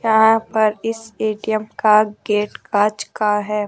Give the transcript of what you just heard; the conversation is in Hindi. यहां पर इस ए_टी_एम का गेट कांच का है।